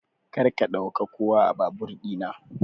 Karka ɗauka kowa a babur ɗina.